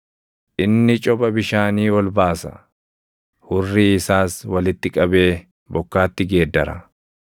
“Inni copha bishaanii ol baasa; hurrii isaas walitti qabee bokkaatti geeddara.